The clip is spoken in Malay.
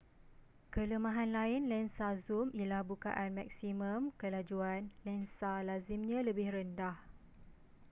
kelemahan lain lensa zoom ialah bukaan maksimum kelajuan lensa lazimnya lebih rendah